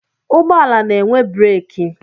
Ụgbọala na-enwe breeki.